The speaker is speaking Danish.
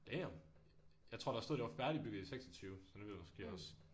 Damn jeg tror der stod det var færdigbygget i 26 så nu er det måske også